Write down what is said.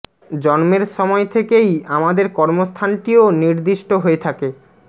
জন্মের সময় থেকেই আমাদের কর্ম স্থানটিও নির্দিষ্ট হয়ে থাকে